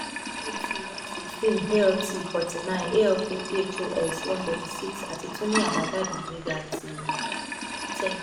at one sixteen alt forty nine alk phos one thirty six ati tun ni abajade ten